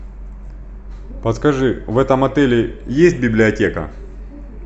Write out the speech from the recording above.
подскажи в этом отеле есть библиотека